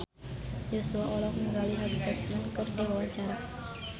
Joshua olohok ningali Hugh Jackman keur diwawancara